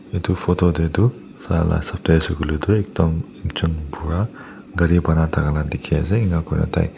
etu photo tey toh sai la hisap tey ase koiley toh edam jon bura gari pana thaka la ka dikey ase eneka kuri kena tai.